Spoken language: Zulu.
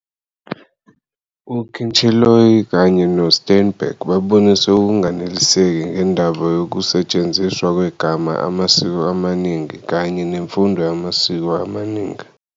U-Kincheloe kanye no-Steinberg babonise ukunganeliseki ngendaba yoku setshenziswa kwegama " amasiko aminingi " kanye "nemfundo yamasiko amaningi".